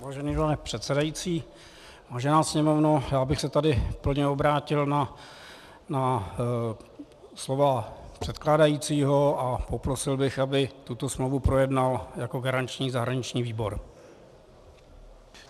Vážený pane předsedající, vážená Sněmovno, já bych se tady plně obrátil na slova předkládajícího a poprosil bych, aby tuto smlouvu projednal jako garanční zahraniční výbor.